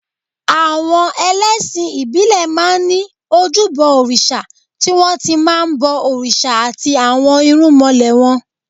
Àwọn ẹlẹ́sìn ìbílẹ̀ máa ń ní ojúbọ òrìṣà tí wọ́n ti máa ń bọ òrìṣà àti àwọn irúnmọlẹ̀ wọn